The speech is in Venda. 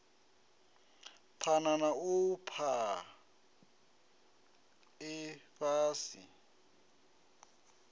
phana na u fhaa ifhasi